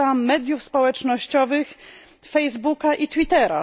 Używałam mediów społecznościowych Facebooka i Twittera.